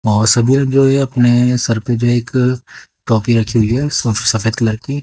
और अपने सर पे जो है एक रखी हुई है स सफेद कलर की--